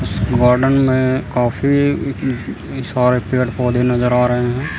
Garden में कॉफी सारे पेड़ पौधे नजर आ रहे हैं।